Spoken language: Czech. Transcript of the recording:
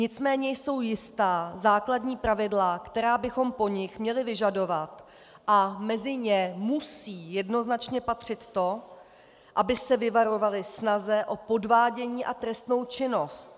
Nicméně jsou jistá základní pravidla, která bychom po nich měli vyžadovat, a mezi ně musí jednoznačně patřit to, aby se vyvarovali snahy o podvádění a trestnou činnost.